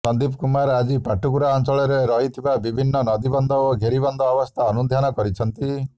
ସନ୍ଦିପ୍ କୁମାର ଆଜି ପାଟକୁରା ଅଂଚଳରେ ରହିଥିବା ବିଭିନ୍ନ ନଦିବନ୍ଧ ଓ ଘେରିବନ୍ଧ ଅବସ୍ଥା ଅନୁଧ୍ୟାନ କରିଛନ୍ତି